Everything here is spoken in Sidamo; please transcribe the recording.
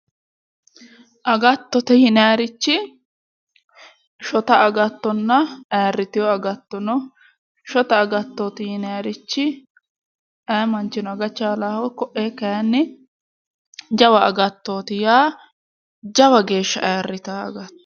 Agattote yinaayiirichi shota agattonna aayiirritewo agatto no. shota agattooti yinaayiirichi ayee manchino aga chaalaaho koee kaayiinni jawa agattooti yaa, jawa geeshsha ayiirritaa agattooti.